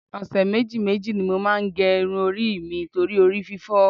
Ọ̀sẹ̀ méjì méjì ni mo máa ń gẹ irun mi torí orí fífọ́